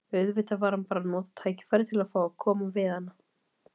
Auðvitað var hann bara að nota tækifærið til að fá að koma við hana.